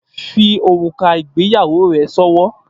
Fi órúká igbéyàwó re sòwò